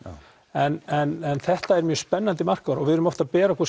en þetta er mjög spennandi markaður og við erum oft að bera okkur